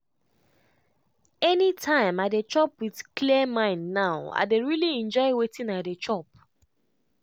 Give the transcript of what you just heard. anytime i dey chop with clear mind now i dey really enjoy wetin i dey chop.